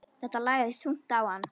Þetta lagðist þungt á hann.